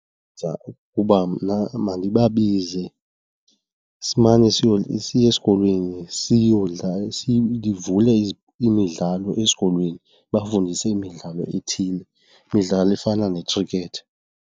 Ndicinga ukuba mna mandibabize simane siye esikolweni sivule imidlalo esikolweni ndibafundise imidlalo ethile, imidlalo efana ne-cricket.